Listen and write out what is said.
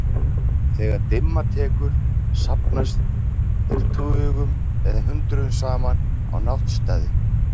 Þegar dimma tekur safnast þeir tugum eða hundruðum saman á náttstaði.